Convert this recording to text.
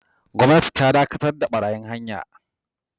Gwamnati ta dakatar da barayin hanya